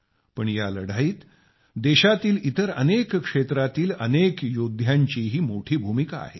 पण या लढाईत देशातील इतर अनेक क्षेत्रातील अनेक योद्ध्यांचीही मोठी भूमिका आहे